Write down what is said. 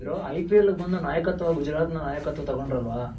ಚೆನಾಗ್ ಆಡ್ತಿದ್ರು. IPL ಗ್ ಬಂದು ನಾಯಕತ್ವ ಗುಜರಾತ್ ನ ನಾಯಕತ್ವ ತಗೊಂಡ್ರಲ್ವ